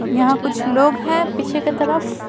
यहां कुछ लोग हैं पीछे के तरफ।